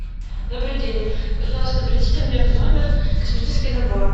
добрый день пожалуйста принесите мне в номер косметический набор